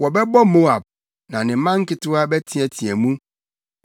Wɔbɛbɔ Moab: na ne mma nketewa bɛteɛteɛ mu.